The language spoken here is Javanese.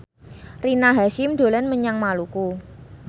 Rina Hasyim dolan menyang Maluku